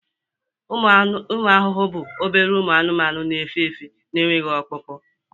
ụmụ ahụhụ bụ obere ụmụ anụmanụ n'efe efe n'enweghị ọkpụkpụ